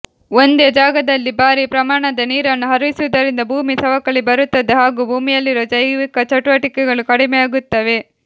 ಒಂದೇ ಜಾಗದಲ್ಲಿ ಭಾರೀ ಪ್ರಮಾಣದ ನೀರನ್ನು ಹರಿಸುವುದರಿಂದ ಭೂಮಿ ಸವಕಳಿ ಬರುತ್ತದೆ ಹಾಗೂ ಭೂಮಿಯಲ್ಲಿರುವ ಜೈವಿಕ ಚಟುವಟಿಕೆಗಳು ಕಡಿಮೆಯಾಗುತ್ತವೆ